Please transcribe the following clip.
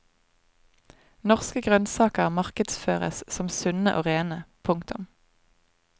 Norske grønnsaker markedsføres som sunne og rene. punktum